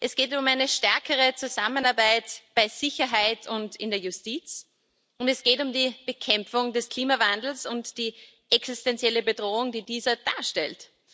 Es geht um eine stärkere Zusammenarbeit bei Sicherheit und in der Justiz, und es geht um die Bekämpfung des Klimawandels und die existenzielle Bedrohung, die dieser darstellt.